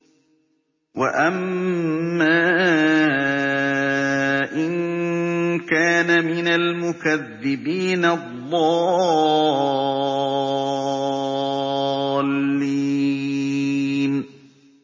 وَأَمَّا إِن كَانَ مِنَ الْمُكَذِّبِينَ الضَّالِّينَ